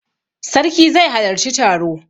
Sarki zai halarci taro.